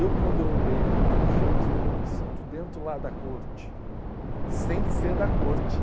Eu, quando eu leio um livro do Shakespeare, eu me sinto dentro lá da corte, sem ser da corte.